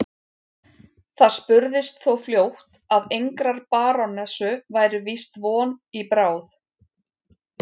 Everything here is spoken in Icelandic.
Það spurðist þó fljótt að engrar barónessu væri víst von í bráð.